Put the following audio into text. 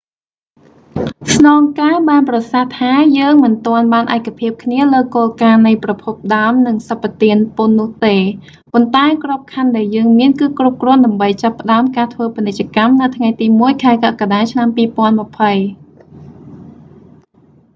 ស្នងការបានប្រសាសន៍ថា យើងមិនទាន់បានឯកភាពគ្នាលើគោលការណ៍នៃប្រភពដើមនិងសម្បទានពន្ធនោះទេ ប៉ុន្តែក្របខណ្ឌដែលយើងមាន គឺគ្រប់គ្រាន់ដើម្បីចាប់ផ្តើមការធ្វើពាណិជ្ជកម្មនៅថ្ងៃទី1 ខែកក្កដាឆ្នាំ 2020